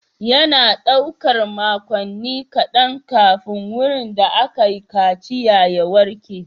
Yana ɗaukar makonni kaɗan kafin wurin da aka kaciya ya warke.